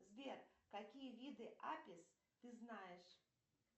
сбер какие виды апес ты знаешь